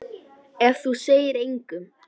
Ef þú segir engum.